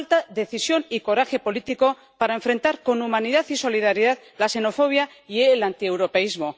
Falta decisión y coraje político para enfrentar con humanidad y solidaridad la xenofobia y el antieuropeísmo.